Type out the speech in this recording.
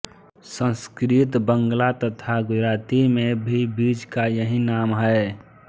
संस्कृत बँगला तथा गुजराती में भी बीज का यही नाम है